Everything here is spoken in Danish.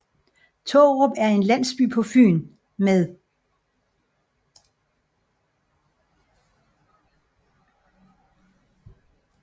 Tårup er en landsby på Fyn med